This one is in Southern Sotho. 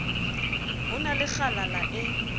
ho na le kgalala e